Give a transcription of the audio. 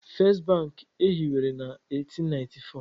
First Bank e hiwere na 1894